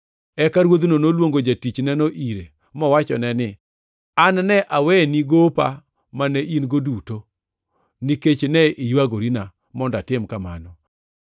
“Eka ruodhno noluongo jatichneno ire, mowachone ni, ‘An ne aweni gopa mane in-go duto nikech ne iywagorina mondo atim kamano.